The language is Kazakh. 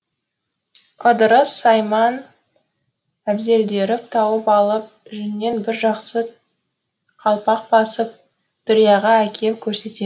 ыдырыс сайман әбзелдерін тауып алып жүннен бір жақсы қалпақ басып дүрияға әкеп көрсетеді